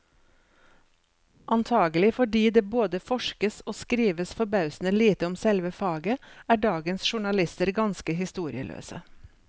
Antagelig fordi det både forskes og skrives forbausende lite om selve faget, er dagens journalister ganske historieløse.